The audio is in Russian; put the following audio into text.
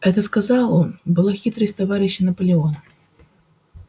это сказал он была хитрость товарища наполеона